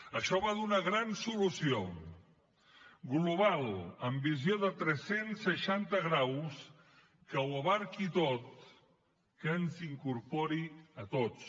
això va d’una gran solució global amb visió de tres cents i seixanta graus que ho abraci tot que ens incorpori a tots